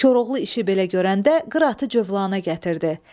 Koroğlu işi belə görəndə qıratı cövlanə gətirdi.